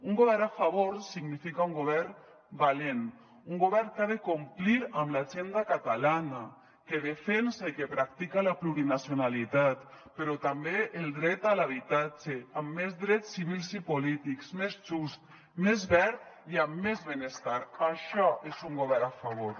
un govern a favor significa un govern valent un govern que ha de complir amb l’agenda catalana que defensa i que practica la plurinacionalitat però també el dret a l’habitatge amb més drets civils i polítics més just més verd i amb més benestar això és un govern a favor